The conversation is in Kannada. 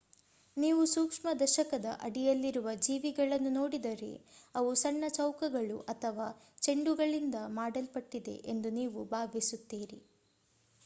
ನೀವು ಸೂಕ್ಷ್ಮದರ್ಶಕದ ಅಡಿಯಲ್ಲಿರುವ ಜೀವಿಗಳನ್ನು ನೋಡಿದರೆ ಅವು ಸಣ್ಣ ಚೌಕಗಳು ಅಥವಾ ಚೆಂಡುಗಳಿಂದ ಮಾಡಲ್ಪಟ್ಟಿದೆ ಎಂದು ನೀವು ಭಾವಿಸುತ್ತೀರಿ